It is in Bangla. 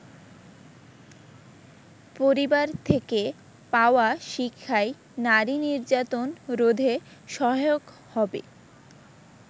পরিবার থেকে পাওয়া শিক্ষাই নারী নির্যাতন রোধে সহায়ক হবে।